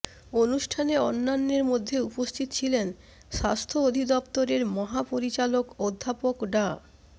অনুষ্ঠানে অন্যান্যের মধ্যে উপস্থিত ছিলেন স্বাস্থ্য অধিদফতরের মহাপরিচালক অধ্যাপক ডা